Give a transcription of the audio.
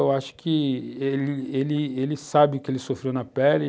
Eu acho que ele ele ele sabe o que ele sofreu na pele.